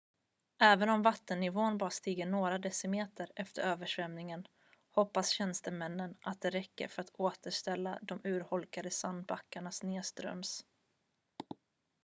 även om vattennivån bara stiger några decimeter efter översvämningen hoppas tjänstemännen att det räcker för att återställa de urholkade sandbankerna nedströms